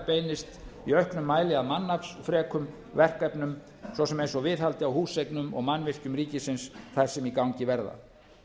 beinist í auknum mæli að mannaflsfrekum verkefnum svo sem eins og viðhaldi á húseignum og mannvirkjum ríkisins þeim sem í gangi verða